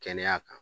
Kɛnɛya kan